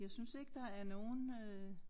Jeg synes ikke der er nogen øh